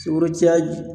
Sukoro caya